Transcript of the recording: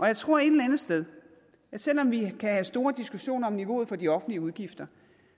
jeg tror et eller andet sted at selv om vi kan have store diskussioner om niveauet for de offentlige udgifter